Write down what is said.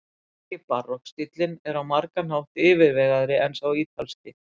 Franski barokkstíllinn er á margan hátt yfirvegaðri en sá ítalski.